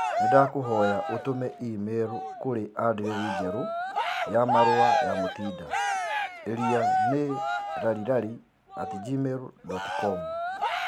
Nĩndakũhoya ũtũme i-mīrū kũrĩ andirethi njerũ ya marũa ya Mutinda ĩria nĩ larrylarry at gmail dot com